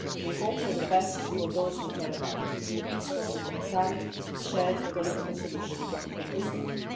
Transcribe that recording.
We hope for the best for those we care about a peaceful, democratic, shared political solution for Venezuela.